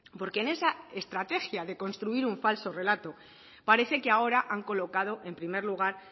porque en esa estrategia de construir un falso relato parece que ahora han colocado en primer lugar